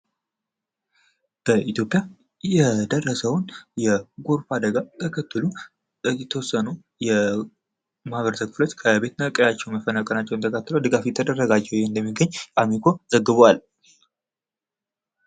በኢትዮጵያ የደረሰውን የጎርፍ አደጋ ተከትሎ የተወሰኑ የማህበረሰብ ክፍሎች ከቤት እና ቀያቸው መፈናቀላቸውን ተከትሎ ድጋፍ እየተደረገላቸው እንደሚገኝ አሚኮ ዘግቧል።